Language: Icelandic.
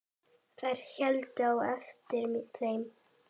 Þeir héldu á eftir þeim!